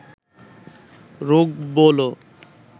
রোগ বলো